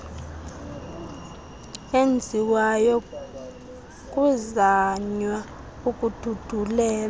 enziwayo kuzanywa ukududulela